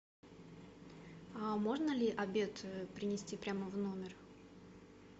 а можно ли обед принести прямо в номер